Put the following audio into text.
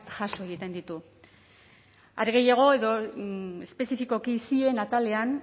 jaso egiten ditu are gehiago edo espezifikoki zioen atalean